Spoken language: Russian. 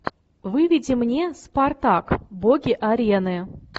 выведи мне спартак боги арены